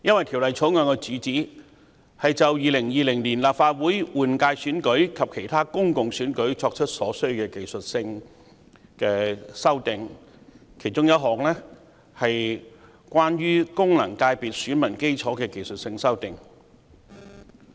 《條例草案》的主旨是就2020年立法會換屆選舉及其他公共選舉作出所需的技術性修訂，其中一項是有關功能界別選民基礎的技術修訂。